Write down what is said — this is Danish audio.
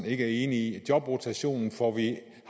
ikke er enig i at jobrotationsordningen